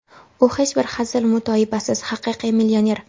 U, hech bir hazil-mutoyibasiz, haqiqiy millioner.